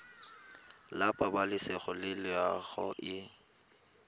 la pabalesego le loago e